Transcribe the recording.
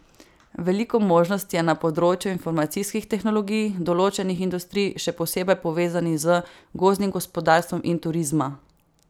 Veliko možnosti je na področju informacijskih tehnologij, določenih industrij, še posebej povezanih z gozdnim gospodarstvom, in turizma.